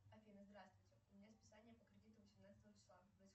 афина здравствуйте у меня списание по кредиту восемнадцатого числа